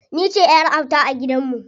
Ni ce ƴar auta a gidan mu.